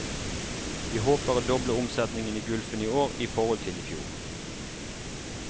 Vi håper å doble omsetningen i gulfen i år i forhold til i fjor.